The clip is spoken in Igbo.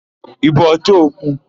Ị bụ ọchọ okwu?